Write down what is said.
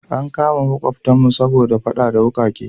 An kama makwabtanmu saboda fada da wukake.